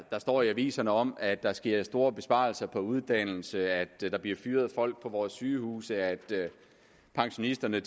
der står i aviserne om at der sker store besparelser på uddannelse at der bliver fyret folk på vores sygehuse at pensionisterne